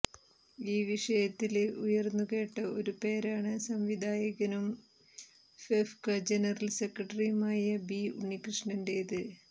ഈ വിഷയത്തില് ഉയര്ന്നുകേട്ട ഒരു പേരാണ് സംവിധായകനും ഫെഫ്ക ജനറല് സെക്രട്ടറിയുമായ ബി ഉണ്ണികൃഷ്ണന്റെത്